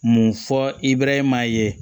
Mun fɔ ibɛrɛhe maa ye